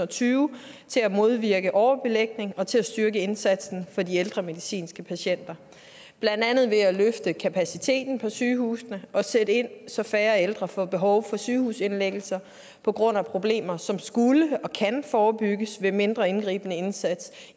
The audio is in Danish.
tyve til at modvirke overbelægning og til at styrke indsatsen for de ældre medicinske patienter blandt andet ved at løfte kapaciteten på sygehusene og at sætte ind så færre ældre får behov for sygehusindlæggelser på grund af problemer som skulle og kan forebygges ved mindre indgribende indsatser